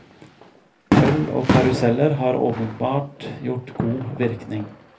Øl og karuseller har åpenbart gjort god virkning.